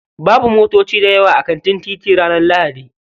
Babu motoci dayawa a kan titi ranar lahadi.